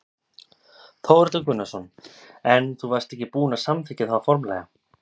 Þórhallur Gunnarsson: En þú varst ekki búin að samþykkja það formlega?